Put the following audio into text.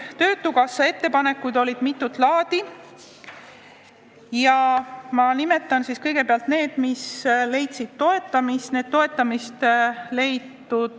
Töötukassa ettepanekud olid mitut laadi ja ma nimetan kõigepealt need, mis leidsid toetamist.